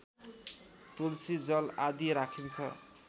तुलसी जल आदि राखिन्छ